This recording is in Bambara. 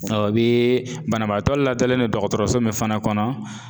Ɔ o bee banabaatɔ ladalen don dɔgɔtɔrɔso min fana kɔnɔ